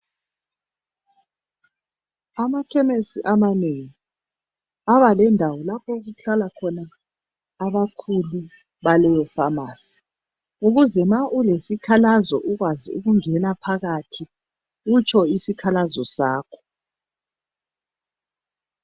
Amakhemisi amanengi abalendawo lapho okuhlala khona abakhulu baleyo famasi ukuze ma ulesikhalazo ukwazi ukungena phakathi utsho isikhalazo sakho.